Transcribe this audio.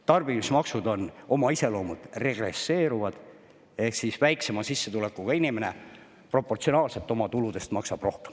Tarbimismaksud on oma iseloomult regresseeruvad ehk siis väiksema sissetulekuga inimene proportsionaalselt oma tuludest maksab rohkem.